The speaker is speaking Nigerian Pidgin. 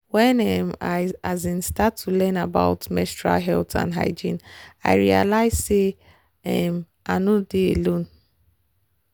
when um i um start to learn about about menstrual health and hygiene i realized say um i nor dey alone.